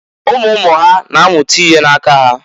Umu umu ha ga na-amụta ihe na-aka ha.